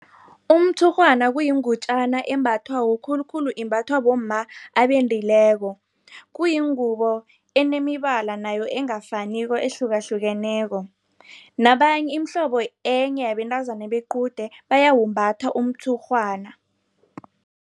Umtshurhwana kuyingutjana embathwako, khulukhulu imbathwa bomma abendileko. Kuyingubo enemibala nayo engafaniko ehlukahlukeneko, imihlobo enye yabentazana bequde bayawumbatha umtshurhwana.